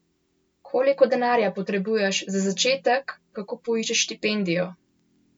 Koliko denarja potrebuješ za začetek, kako poiščeš štipendijo?